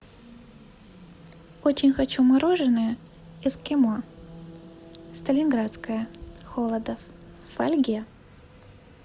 очень хочу мороженое эскимо сталинградское холодов в фольге